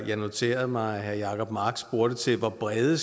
jeg noterede mig at herre jacob mark spurgte til hvor brede